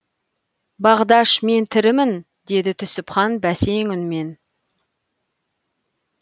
бағдаш мен тірімін деді түсіпхан бәсең үнмен